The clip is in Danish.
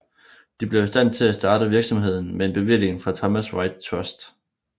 De blev i stand til at starte virksomheden med en bevilling fra Thomas White Trust